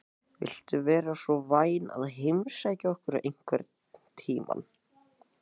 Viltu vera svo vænn að heimsækja okkur einhvern tímann?